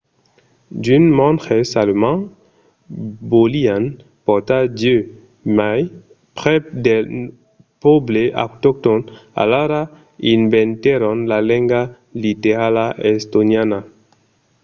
d'unes monges alemands volián portar dieu mai prèp del pòble autoctòn alara inventèron la lenga literala estoniana